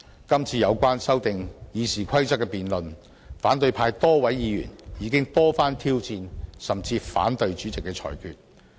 今次有關修訂《議事規則》的辯論，反對派多位議員已經多番挑戰甚至反對主席的裁決。